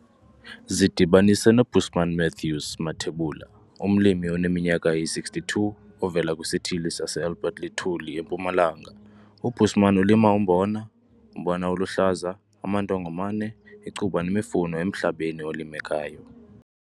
Zidibanise noBusman Mathews Mathebula, umlimi oneminyaka eyi-62 ovela kwisithili saseAlbert Lithuli eMpumalanga. UBusman ulima umbona, umbona oluhlaza, amandongomane, icuba nemifuno emhlabeni olimekayo.